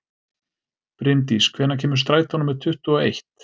Brimdís, hvenær kemur strætó númer tuttugu og eitt?